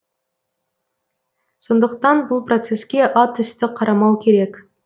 сондықтан бұл процеске атүсті қарамау керек